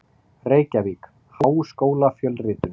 Reykjavík: Háskólafjölritun.